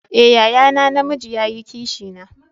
Eh, yaya na, na mijii ya yi Kishi na.